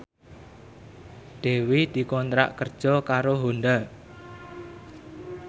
Dewi dikontrak kerja karo Honda